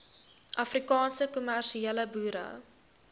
afrikaanse kommersiële boere